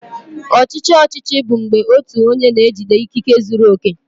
Ọchịchị ọchịchị bụ mgbe otu onye na-ejide ikike zuru oke.